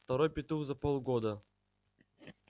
второй петух за полгода